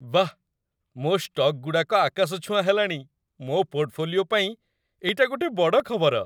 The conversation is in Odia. ବାଃ, ମୋ' ଷ୍ଟକ୍‌ଗୁଡ଼ାକ ଆକାଶଛୁଆଁ ହେଲାଣି! ମୋ ପୋର୍ଟଫୋଲିଓ ପାଇଁ ଏଇଟା ଗୋଟେ ବଡ଼ ଖବର ।